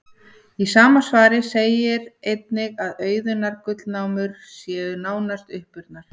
Í sama svari segir einnig að auðunnar gullnámur séu nánast uppurnar.